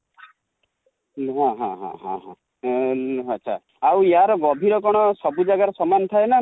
ହଁ ହଁ ଆଛା, ଆଉ ୟାର ଗଭୀର କଣ ସବୁ ଜାଗା ରେ ସମାନ ଥାଏ ନା ନାଇ?